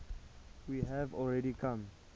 we have already come